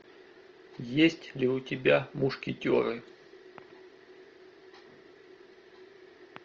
есть ли у тебя мушкетеры